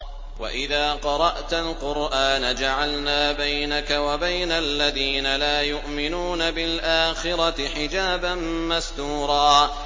وَإِذَا قَرَأْتَ الْقُرْآنَ جَعَلْنَا بَيْنَكَ وَبَيْنَ الَّذِينَ لَا يُؤْمِنُونَ بِالْآخِرَةِ حِجَابًا مَّسْتُورًا